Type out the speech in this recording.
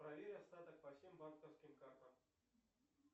проверь остаток по всем банковским картам